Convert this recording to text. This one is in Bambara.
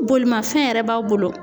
Bolimafɛn yɛrɛ b'aw bolo.